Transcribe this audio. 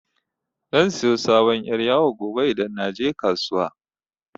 Zan siyo sabon yar' yawo gobe idan naje kasuwa.